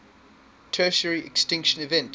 tertiary extinction event